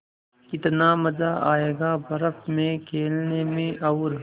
कितना मज़ा आयेगा बर्फ़ में खेलने में और